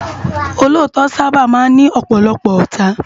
Ólótò sàbá má n ni òpòlòpò òtá